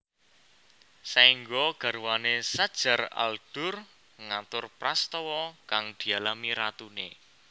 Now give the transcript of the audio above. Saéngga garwané Shajar al Durr ngatur prastawa kang dialami ratuné